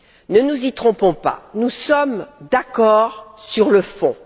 Ne nous y trompons pas nous sommes d'accord sur le fond.